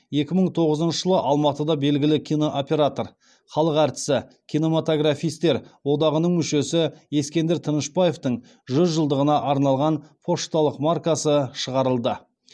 екі мың тоғызыншы жылы алматыда белгілі кинооператор халық әртісі кинематографистер одағының мүшесі ескендір тынышбаевтың жүз жылдығына арналған пошталық маркасы шығарылды